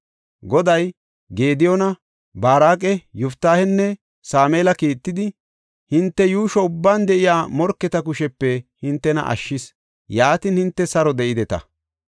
Goday Gediyoona, Baaraqa, Yoftaahenne Sameela kiittidi, hinte yuusho ubban de7iya morketa kushepe hintena ashshis. Yaatin, hinte saro de7ideta.